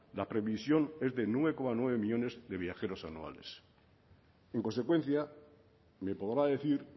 la previsión es de nueve coma nueve millónes de viajeros anuales en consecuencia me podrá decir